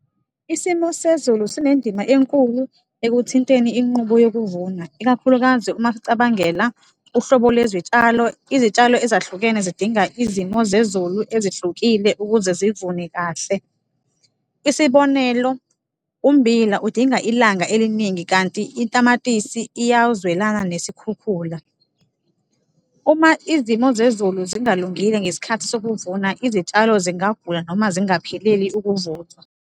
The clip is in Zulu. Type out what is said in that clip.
Isimo sezulu sinendima enkulu ekuthinteni inqubo yokuvuna, ikakhulukazi uma sicabangela uhlobo lwezitshalo. Izitshalo ezahlukene zidinga izimo zezulu ezihlukile ukuze zivune kahle, isibonelo, ummbila udinga ilanga eliningi kanti itamatisi iyazwelana nesikhukhula. Uma izimo zezulu zingalungile ngesikhathi sokuvuna, izitshalo zingagula noma zingapheleli ukuvuthwa.